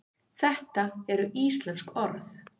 þetta eru íslensk orð